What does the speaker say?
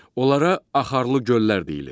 Onlara axarlı göllər deyilir.